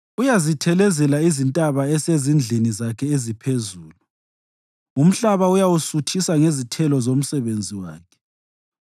Uyazithelezela izintaba esezindlini zakhe eziphezulu; umhlaba uyawusuthisa ngezithelo zomsebenzi wakhe.